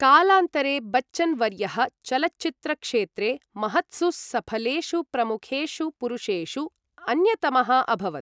कालान्तरे, बच्चन् वर्यः चलच्चित्रक्षेत्रे महत्सु सफलेषु प्रमुखेषु पुरुषेषु अन्यतमः अभवत्।